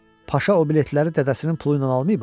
Paşa o biletləri dədəsinin pulu ilə almayıb ha.